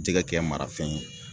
Jɛgɛ kɛ marafɛn ye